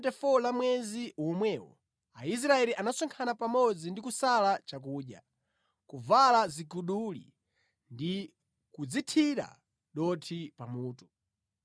Pa tsiku la 24 la mwezi womwewo, Aisraeli anasonkhana pamodzi ndi kusala chakudya, kuvala ziguduli ndi kudzithira dothi pa mutu.